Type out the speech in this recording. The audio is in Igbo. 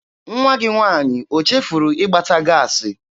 Nwa gị nwaanyị o chefuru ịgbata gaasị?